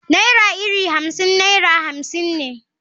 Naira iri Hamsin naira hamsin ne.